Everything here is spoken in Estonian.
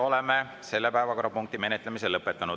Oleme selle päevakorrapunkti menetlemise lõpetanud.